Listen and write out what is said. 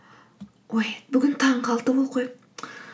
ой бүгін таңғы алты